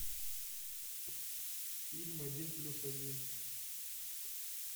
фильм один плюс один